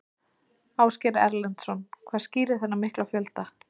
Ásgeir Erlendsson: Hvað skýrir þennan mikla fjölda?